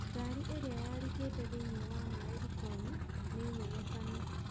Gari ĩria yarĩkite thĩini ya maĩ Likoni nĩnyonekanu